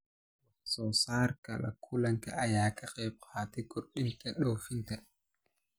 Wax soo saarka kalluunka ayaa ka qayb qaata kordhinta dhoofinta.